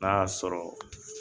N'a y'a sɔrɔ